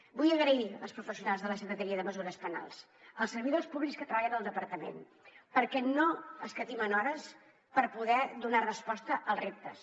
vull donar les gràcies als professionals de la secretaria de mesures penals als servidors públics que treballen al departament perquè no escatimen hores per poder donar resposta als reptes